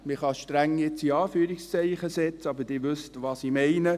Man kann streng jetzt in Anführungszeichen setzen, aber Sie wissen, was ich meine.